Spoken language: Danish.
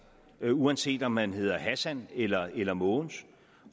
uanset om man hedder hassan eller eller mogens